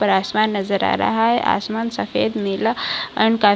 ऊपर आसमान नजर आ रहा है आसमान सफ़ेद नीला एन्ड का --